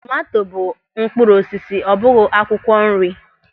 Tomanto bụ mkpụrụ osisi, ọ bụghị akwụkwọ nri.